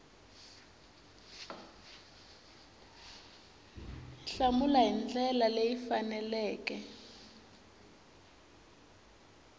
hlamula hi ndlela leyi faneleke